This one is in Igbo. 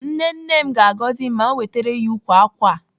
Nne nne m ga-agọzi m ma m wetere ya ukwu ákwà a.